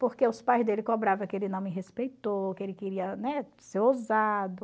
Porque os pais dele cobrava que ele não me respeitou, que ele queria, né, ser ousado.